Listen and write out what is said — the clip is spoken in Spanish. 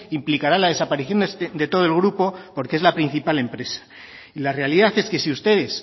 implicará la desaparición de todo el grupo porque es la principal empresa y la realidad es que si ustedes